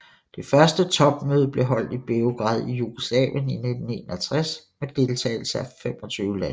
Det første topmøde blev holdt i Beograd i Jugoslavien i 1961 med deltagelse af 25 lande